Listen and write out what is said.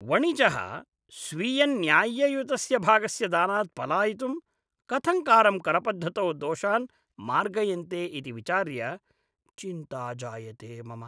वणिजः स्वीयन्याय्ययुतस्य भागस्य दानात् पलायितुं कथङ्कारं करपद्धतौ दोषान् मार्गयन्ते इति विचार्य चिन्ता जायते मम।